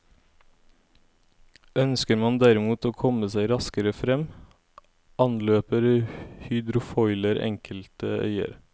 Ønsker man derimot å komme seg raskere frem, anløper hydrofoiler enkelte øyer.